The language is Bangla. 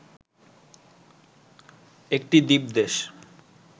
একটি দ্বীপ দেশ